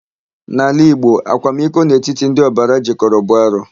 N'ala Igbo, akwamiko n'etiti ndị ọbara jịkọrọ bụ arụ.